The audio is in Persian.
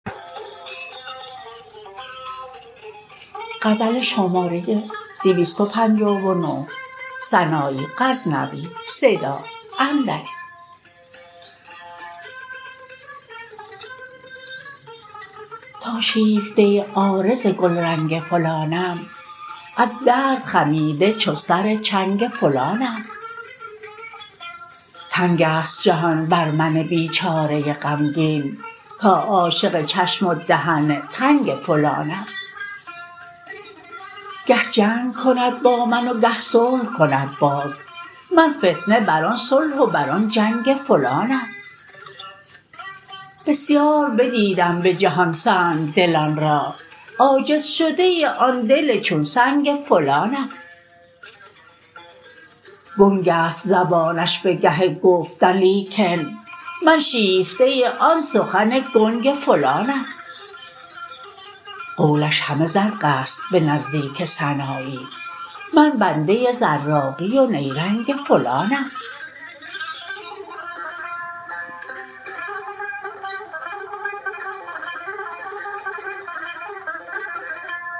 تا شیفته عارض گلرنگ فلانم از درد خمیده چو سر چنگ فلانم تنگ ست جهان بر من بیچاره غمگین تا عاشق چشم و دهن تنگ فلانم گه جنگ کند با من و گه صلح کند باز من فتنه بر آن صلح و بر آن جنگ فلانم بسیار بدیدم به جهان سنگدلان را عاجز شده آن دل چون سنگ فلانم گنگست زبانش به گه گفتن لیکن من شیفته آن سخن گنگ فلانم قولش همه زرقست به نزدیک سنایی من بنده زراقی و نیرنگ فلانم